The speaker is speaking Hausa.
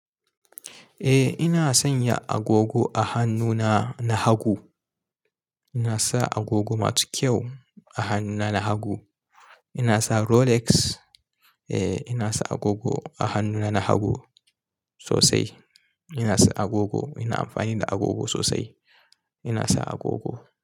Eh ina sanya agogo a hannuna na hagu. Ina sa agogo masu kyau a hannuna na hagu. Ina sa Rolex. Eh ina sa agogo a hannuna na hagu sosai. Ina sa agogo, ina amfani da agogo sosai. Ina sa agogo.